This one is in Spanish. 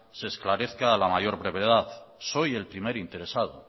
se esclarezca a la mayor brevedad soy el primer interesado